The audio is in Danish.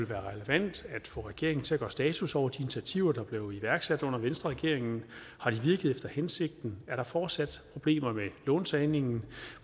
være relevant at få regeringen til at gøre status over de initiativer der blev iværksat under venstreregeringen har de virket efter hensigten er der fortsat problemer med låntagningen